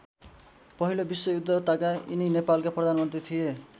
पहिलो विश्वयुद्ध ताका यिनी नेपालका प्रधानमन्त्री थिए।